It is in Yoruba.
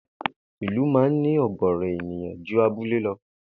Ìlú máa ń ní ò̩gò̩ò̩rò̩ ènìyàn ju abúlé lo̩